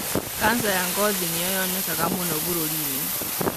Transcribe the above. kanca ya ngothi nĩyo yonekaga mũno bũrũri-inĩ.